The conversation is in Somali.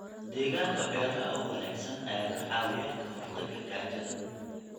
Deegaanka beeraha oo wanaagsan ayaa ka caawiya ka hortagga gaajada.